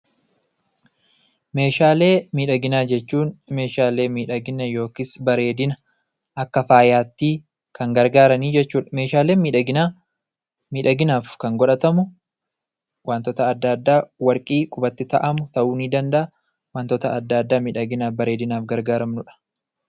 Meeshaalee miidhaginaa jechuun meeshaalee miidhagina yookiis bareedina akka faayaatti kan gargaaranii jechuudha. Meeshaaleen miidhaginaa, miidhaginaaf kan godhatamu waantota adda addaa warqii qubatti ta'amu ta'uu ni danda'a. Wantoota adda addaa miidhaginaaf bareedinaaf gargaaramnudha.